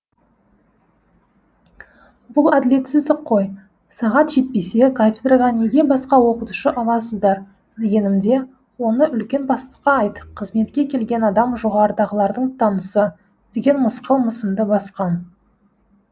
бұл әділетсіздік қой сағат жетпесе кафедраға неге басқа оқытушы аласыздар дегенімде оны үлкен бастыққа айт қызметке келген адам жоғарыдағылардың танысы деген мысқыл мысымды басқан